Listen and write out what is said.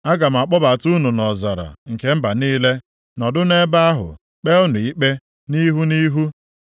Aga m akpọbata unu nʼọzara nke mba niile, nọdụ nʼebe ahụ kpee unu ikpe nʼihu nʼihu.